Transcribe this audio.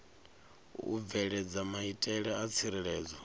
u bveledza maitele a tsireledzo